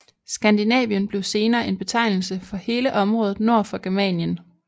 Skandinavien blev senere en betegnelse for hele området nord for Germanien